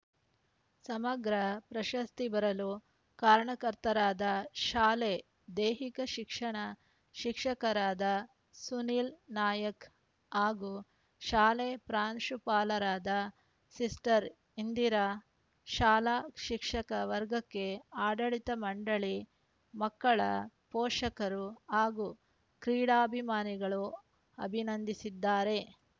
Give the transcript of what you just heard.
ಸಮಗ್ರ ಪ್ರಶಸ್ತಿ ಬರಲು ಕಾರಣಕರ್ತರಾದ ಶಾಲೆ ದೈಹಿಕ ಶಿಕ್ಷಣ ಶಿಕ್ಷಕರಾದ ಸುನೀಲ್‌ ನಾಯ್ಕ ಹಾಗೂ ಶಾಲೆ ಪ್ರಾಂಶುಪಾಲರಾದ ಸಿಸ್ಟರ್‌ ಇಂದಿರಾ ಶಾಲಾ ಶಿಕ್ಷಕ ವರ್ಗಕ್ಕೆ ಆಡಳಿತ ಮಂಡಳಿ ಮಕ್ಕಳ ಪೋಷಕರು ಹಾಗೂ ಕ್ರೀಡಾಭಿಮಾನಿಗಳು ಅಭಿನಂದಿಸಿದ್ದಾರೆ